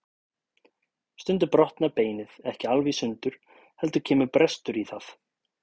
Stundum brotnar beinið ekki alveg í sundur heldur kemur brestur í það.